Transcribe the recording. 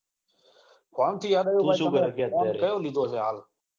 phone તો હવે કેતા નઈ કયો લીધો છે. હાલ